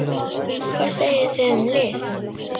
Hvað segið þið um lyf?